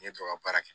N ye tɔ ka baara kɛ